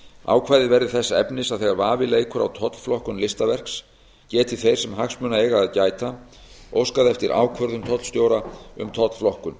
ákvæðið verði þess efnis að þegar vafi leikur á tollflokkun listaverks geti þeir sem hagsmuna eiga að gæta óskað eftir ákvörðun tollstjóra um tollflokkun